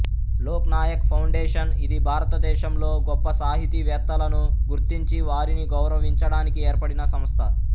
Lok Nayak Foundation ఇది భారతదేశంలో గొప్ప సాహితీ వేత్తలను గుర్తించి వారిని గౌరవించడానికి ఏర్పడిన సంస్థ